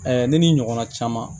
ne ni n ɲɔgɔnna caman